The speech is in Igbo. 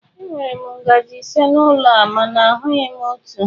Enwere m ngaji ise n'ụlọ a mana ahụghị m otu.